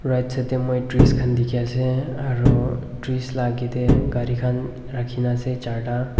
Right side dae moi trees khan dikhi ase aro trees la agae dae gari khan rakhina ase charta.